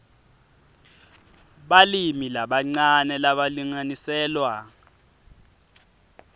balimi labancane labalinganiselwa